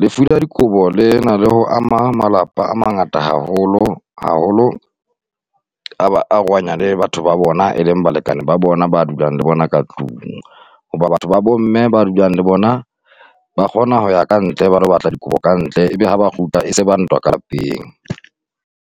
lefu la dikobo le na le ho ama malapa a mangata haholo, haholo ba arohanya le batho ba bona e leng balekane ba bona ba dulang le bona ka tlung, hoba batho ba bomme ba dulang le bona ba kgona ho ya kantle ba ilo batla dikobo kantle, ebe ha ba kgutla e se ba ntwa ka lapeng.